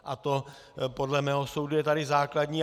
A to podle mého soudu je tady základní.